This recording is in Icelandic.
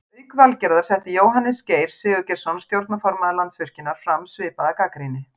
Auk Valgerðar setti Jóhannes Geir Sigurgeirsson stjórnarformaður Landsvirkjunar fram svipaða gagnrýni.